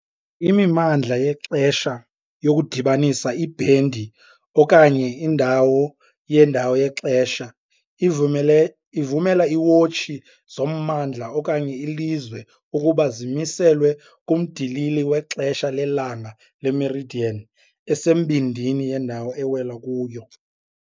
Imimandla yexesha, yokudibanisa ibhendi okanye indawo yendawo yexesha, ivumele ivumela iiwotshi zommandla okanye ilizwe ukuba zimiselwe kumndilili wexesha lelanga le-meridian esembindini yendawo ewela kuyo.